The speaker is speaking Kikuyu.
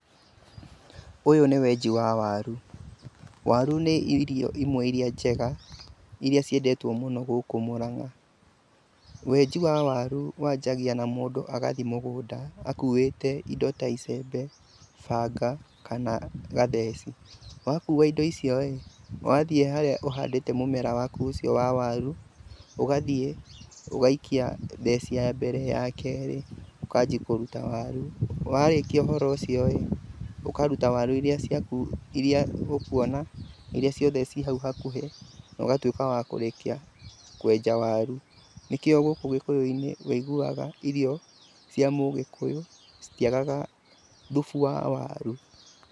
Ũyũ nĩ wenji wa waru, waru nĩcio irio imwe iria njega iria ciendetwo mũno gũkũ Mũrang'a. Wenji wa waru wanjagia na mũndũ gũthiĩ mũgũnda akũwite indo icembe, banga kana gatheci. Wakuwa indo icio-ĩ, wathiĩ harĩa ũhandĩte mũmera waku ũcio wa waru, ũgathiĩ ũgaikia theci ya mbere, ya keeri, ũkanjĩa kũruta waru. Wanjia ũhoro ũcio ũkanjia kũruta waru ciaku iria ũkuona na cirĩ hakuhĩ na ũgatuĩka wa kũrĩkia kwenja waru. Nĩkĩo gũkũ gĩkũyũ-inĩ ũiguaga irio cia mũgĩkũyũ citiagaga thubu wa waru.